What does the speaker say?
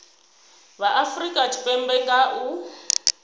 vha afurika tshipembe nga u